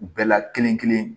U bɛɛ la kelen kelen